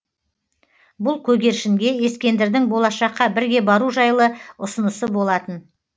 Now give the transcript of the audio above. бұл көгершінге ескендірдің болашаққа бірге бару жайлы ұсынысы болатын